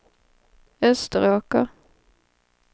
Österåker